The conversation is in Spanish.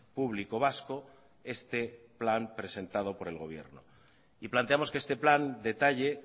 público vasco este plan presentado por el gobierno y planteamos que este plan detalle